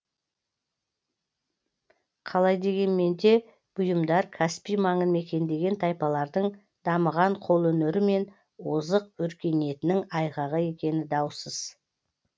қалай дегенмен де бұйымдар каспий маңын мекендеген тайпалардың дамыған қолөнері мен озық өркениетінің айғағы екені даусыз